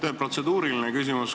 Mul on protseduuriline küsimus.